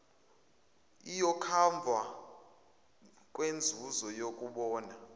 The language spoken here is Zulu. iyokhavwa kweyenzuzo yokubona